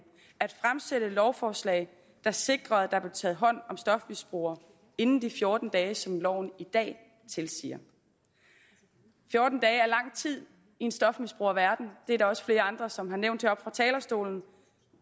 at fremsætte et lovforslag der sikrede at der blev taget hånd om stofmisbrugere inden de fjorten dage som loven i dag tilsiger fjorten dage er lang tid i en stofmisbrugerverden det er der også flere andre som har nævnt heroppe fra talerstolen